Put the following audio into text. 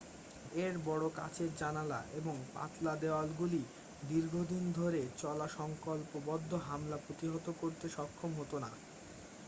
এর বড় কাচের জানালা এবং পাতলা দেওয়ালগুলি দীর্ঘদিন ধরে চলা সংকল্পবদ্ধ হামলা প্রতিহত করতে সক্ষম হত না